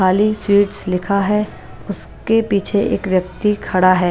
खाली स्वीट्स लिखा है उस के पीछे एक व्यक्ति खड़ा है।